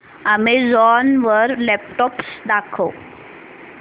Amazon वर laptops दाखव